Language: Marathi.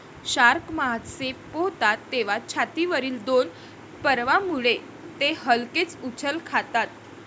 शार्क मासे पोहतात तेव्हा छातीवरील दोन पर्वांमुळे ते हलकेच उचल खातात.